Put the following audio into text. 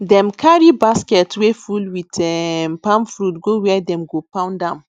dem carry basket wey full with um palm fruit go where dem go pound am